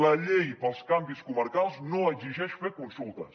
la llei per als canvis comarcals no exigeix fer consultes